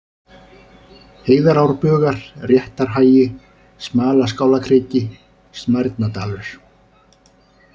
Heiðarárbugar, Réttarhagi, Smalaskálakriki, Smærnadalur